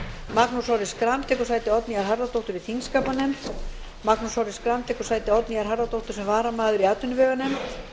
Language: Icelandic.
magnús orri schram tekur sæti oddnýjar harðardóttur í þingskapanefnd magnús orri schram tekur sæti oddnýjar harðardóttur sem varamaður í atvinnuveganefnd